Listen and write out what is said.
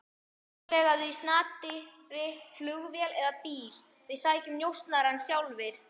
Útvegaðu í snatri flugvél eða bíl, við sækjum njósnarann sjálfir.